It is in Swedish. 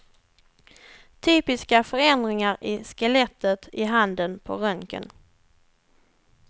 Typiska förändringar i skelettet i handen på röntgen.